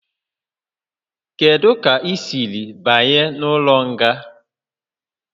Kedu ka ị siri banye n'ụlọ nga?